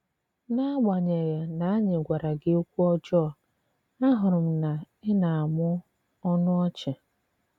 N'àgbànyèghà na ànyị̀ gwàrà gị òkwù ọ̀jọọ, àhụ̀rù m na ị na-àmụ̀ ọnụ ọ̀chì.